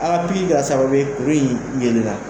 A ka pikiri kɛra sababu ye kuru in yeelenna